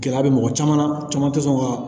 Gɛlɛya bɛ mɔgɔ caman caman tɛ sɔn ka